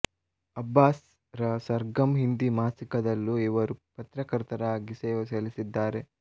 ಅಬ್ಬಾಸ್ ರ ಸರ್ಗಮ್ ಹಿಂದಿ ಮಾಸಿಕದಲ್ಲೂ ಇವರು ಪತ್ರಕರ್ತರಾಗಿ ಸೇವೆಸಲ್ಲಿಸಿದ್ದಾರೆ